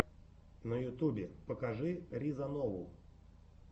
на ютюбе покажи риза нову